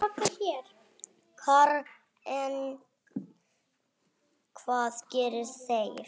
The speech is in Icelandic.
Karen: Hvað gera þeir?